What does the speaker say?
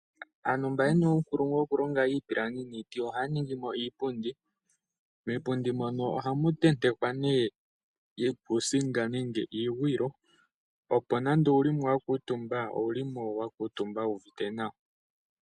Aantu mba ye na uunkulungu wokulonga iipilangi niiti ohaya ningi mo iipundi. Miipundi mono ohamu tentekwa nee iikuusinga nenge iigwiilo, opo nande owu li mo wa kuutumba owu li mo wa kuutumba wu uvite nawa.